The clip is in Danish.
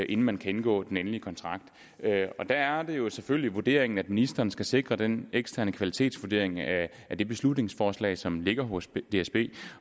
inden man kan indgå den endelige kontrakt der er det jo selvfølgelig vurderingen at ministeren skal sikre den eksterne kvalitetsvurdering af det beslutningsforslag som ligger hos dsb